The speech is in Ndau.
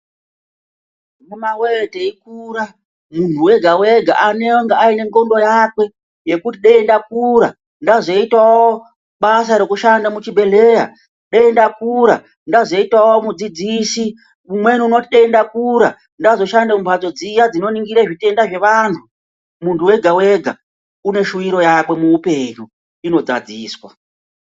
Amuna voye teikura muntu wega-eega unenge aine ndxondo yake yekuti dai ndakura ndazotavo basa rekushanda muchibhedhleya. Dai ndakura ndazoitavo mudzidzisi umweni unoti dai ndakura ndazoshanda mumhatso dziya dzinoningire zvitenda zvevantu, muntu wega-ega uneshuviro yake muupenyu inodzadziswa.